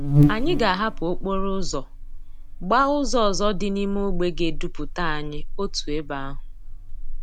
Anyi ga ahapú okporo úzò gbaa úzò òzò di n'ime ogbe ga eduputa anyi otu ebe ahú.